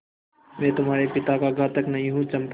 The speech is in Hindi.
मैं तुम्हारे पिता का घातक नहीं हूँ चंपा